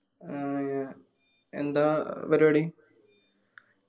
ഏർ എന്താ ഏർ പരുവാടി?